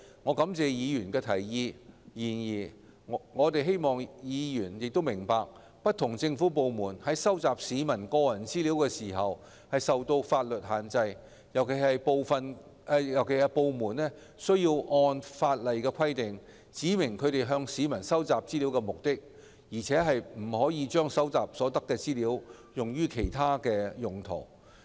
我感謝議員的提議；然而，我希望議員明白，不同政府部門收集市民個人資料時均受法律限制，尤其是部門須按法例規定，指明其向市民收集資料的目的，而且不得把收集所得的資料用於其他用途。